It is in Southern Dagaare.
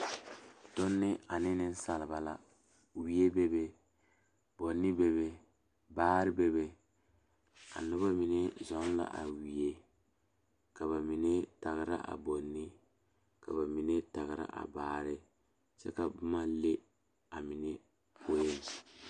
Donne ane nensalba la wie bebe boŋni bebe baare bebe a noba mine zɔŋ la a wie ka ba mine tagra a boŋni ka ba mine tagra a baare kyɛ ka boma le a mine poeŋ.